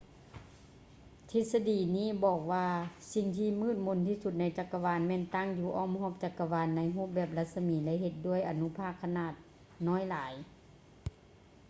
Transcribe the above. ທິດສະດີນີ້ບອກວ່າສິ່ງທີ່ມືດມົນທີ່ສຸດໃນຈັກກະວານແມ່ນຕັ້ງຢູ່ອ້ອມຮອບຈັກກະວານໃນຮູບແບບລັດສະໝີ ແລະ ເຮັດດ້ວຍອະນຸພາກຂະໜາດນ້ອຍຫຼາຍ